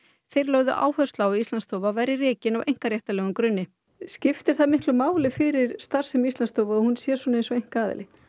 þeir lögðu áherslu á að Íslandsstofa væri rekin á einkaréttarlegum grunni skiptir það miklu máli fyrir starfsemi Íslandsstofu að hún sé eins og einkaaðili